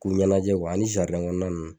K'u ɲɛnajɛ ani kɔnɔnaw